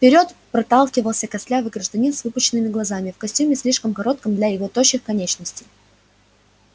вперёд проталкивался костлявый гражданин с выпученными глазами в костюме слишком коротком для его тощих конечностей